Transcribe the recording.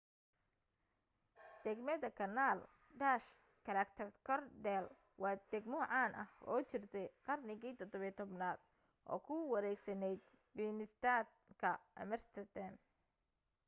degmada kanaal dutch: grachtengordel waa degmo caan ah oo jirtay qarnigii 17aad oo ku wareegsanayd binnestad ka amsterdam